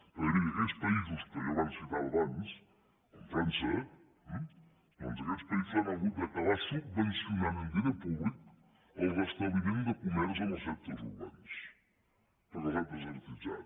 perquè miri aquells països que jo abans citava com frança eh doncs aquests països han hagut d’acabar subvencionant amb diner públic el restabliment de comerç en els centres urbans perquè els han desertitzat